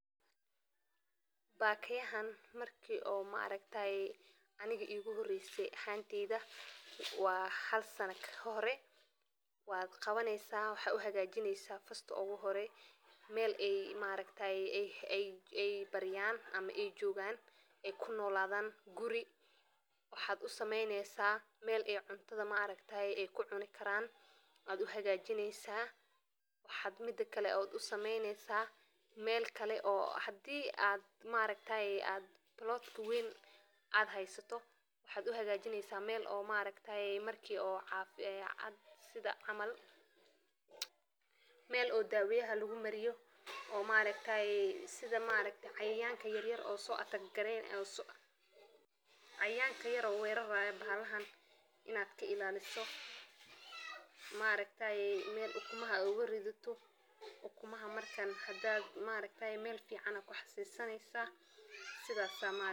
bakayahan markii oo maareytaay anniga igo horreysay hayntiida. Waa hal sannad ka hore waad qabanaysaa waxay u hagaajinaysaa fastu ugu horay meel ey maareytaay ey ay barayaan ama ey joogaan ey ku noolaadaan guri. Waxaad u sameynaysaa meel ey cuntada maareytaay ay ku cuni karaan. Adu waa jineysa waxaad mida kale aad u sameynaysaa meel kale oo haddii aad maareytaay aad bulood ku weyn aad haysato. Waxaad u hagaajinaysaa meel oo maareytaay markii oo caafi ay cad sida amal. Meel oo daweya hal ugu marayo oo maareytaay sida maarey cayayaanka yaryar oo soo gareen. Cayayaanka yaro weerara bahlahan inaad ka ilaaliso maareytaay meel ukumaha ugu rididu ukumaha markaan. Hadaad maareytaay meel fiican ah ku xasheysanaysaa sidaasaa maarey.